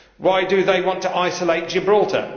Why do they want to isolate Gibraltar?